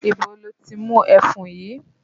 Ibo lo ti mú ẹfun yìí?